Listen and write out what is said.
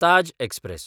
Taj express